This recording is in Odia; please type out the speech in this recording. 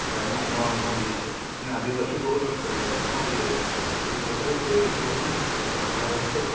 ଖାଈମା ନୂଆ ଆମର ମାନେ ଆଦିବାସୀ ବହୁଲ ଅଞ୍ଚଲରେ ନା ଆମରି ଏରିୟାଟା ସେଟାକୁ ସେଇ ହିସାବରେ କରାଯାଇଛି ଆଉ